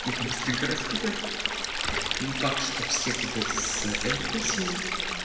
их быстренько раскупят не факт что все купят с аирподсами